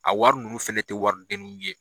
A wari nunnu fɛnɛ tɛ wari deniw ye.